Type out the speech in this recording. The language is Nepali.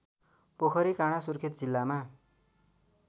पोखरीकाँडा सुर्खेत जिल्लामा